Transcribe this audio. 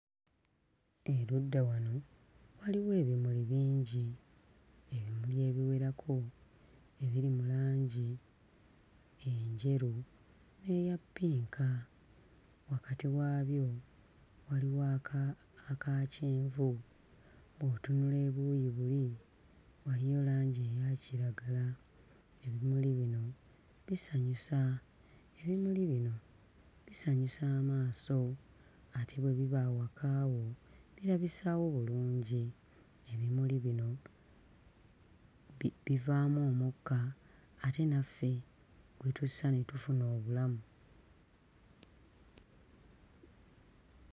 Erudda wano waliwo ebimuli bingi ebiwerako ebiri mu langi enjeru n'eya ppinka. Wakati waabyo waliwo aka aka kyenvu. Bw'otunula obuuyi buli waliyo langi eya kiragala. Ebimuli bino bisanyusa ebimuli bino bisanyusa amaaso ate bwe biba awaka wo birabisaawo bulungi. Ebimuli bino bi bivaamu omukka ate naffe gwe tussa ne tufuna obulamu.